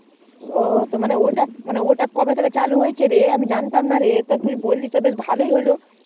ও ওটা কবে থেকে চালু হলো রে আমি জানতাম না রে তা তুই বলিস তা ভালোই হলো রে